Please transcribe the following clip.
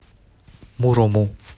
мурому